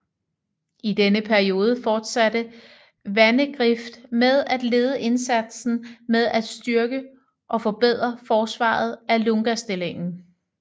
I denne periode fortsatte Vandegrift med at lede indsatsen med at styrke og forbedre forsvaret af Lungastillingen